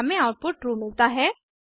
हमें output true मिलता है